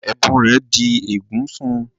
Ẹ̀bùn rẹ̀ di ègún fún-un